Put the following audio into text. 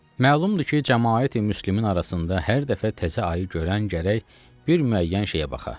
Məlumdur ki, cəmaəti müslimin arasında hər dəfə təzə ayı görən gərək bir müəyyən şeyə baxa.